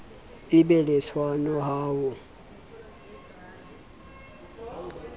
be le tshwano ha ho